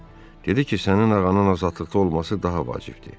Dedi ki, sənin ağanın azadlıqda olması daha vacibdir.